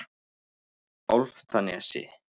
Álftanesi